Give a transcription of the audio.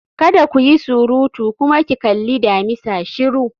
Kada ku yi surutu! kuma ki kalli damisa shiru